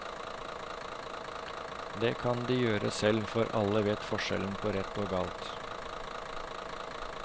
Det kan de gjøre selv, for alle vet forskjell på rett og galt.